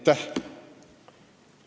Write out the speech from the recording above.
Aitäh!